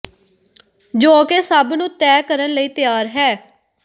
ਜੋ ਕਿ ਸਭ ਨੂੰ ਤੈਅ ਕਰਨ ਲਈ ਤਿਆਰ ਹੈ